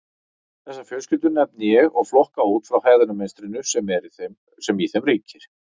Þessar fjölskyldur nefni ég og flokka út frá hegðunarmynstrinu sem í þeim ríkir.